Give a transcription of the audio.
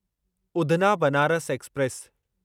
Udhna Banaras express